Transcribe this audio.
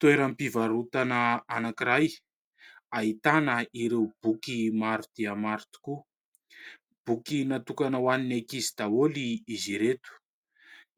Toeram-pivarotana ahitana ireo boky maro dia maro tokoa. Boky natokana ho an'nyankizy daholo izy ireto,